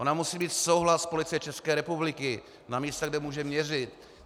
Ona musí mít souhlas Policie České republiky na místech, kde může měřit.